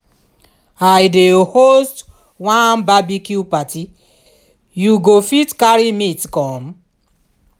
i dey host one barbecue party you fit carry meat come?